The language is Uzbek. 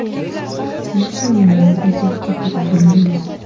Mehmonlarning esa keti uzilmadi.